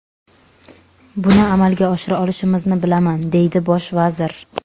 Buni amalga oshira olishimizni bilaman”, deydi bosh vazir.